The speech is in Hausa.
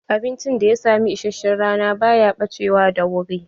Abincin da ya samu isashen rana ba ya ɓacewa da wuri.